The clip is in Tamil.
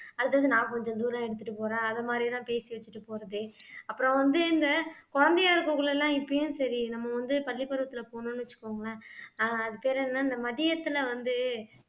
அடுத்தது நான் கொஞ்ச தூரம் எடுத்துட்டு போறேன் அதை மாதிரி எல்லாம் பேசி வச்சுட்டு போறது அப்புறம் வந்து இந்த குழந்தையா இருக்ககுள்ள எல்லாம் இப்பயும் சரி நம்ம வந்து பள்ளிப்பருவத்துல போனோம்ன்னு வச்சுக்கோங்களேன் ஆஹ் அது பேர் என்ன இந்த மதியத்துல வந்து